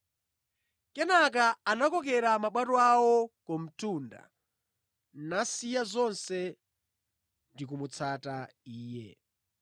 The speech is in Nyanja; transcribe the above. Kenaka anakokera mabwato awo ku mtunda, nasiya zonse namutsata Iye.